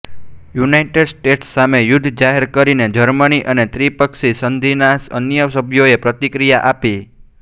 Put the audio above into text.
United States સામે યુદ્ધ જાહેર કરીને જર્મની અને ત્રિપક્ષી સંધિના અન્ય સભ્યોએ પ્રતિક્રિયા આપી